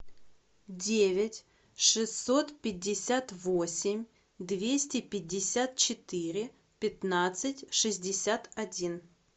девять шестьсот пятьдесят восемь двести пятьдесят четыре пятнадцать шестьдесят один